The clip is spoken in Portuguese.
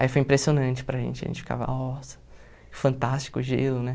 Aí foi impressionante para gente, a gente ficava, nossa, fantástico o gelo, né?